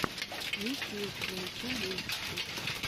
ютюб найти мультики